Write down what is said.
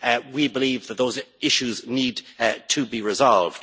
We believe that those issues need to be resolved.